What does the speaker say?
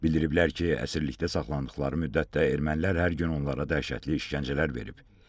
Bildiriblər ki, əsirlikdə saxlanıldıqları müddətdə ermənilər hər gün onlara dəhşətli işgəncələr verib.